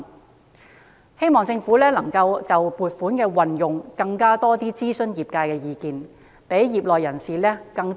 我希望政府能夠就撥款的運用多諮詢業界的意見，讓更多業內人士受惠。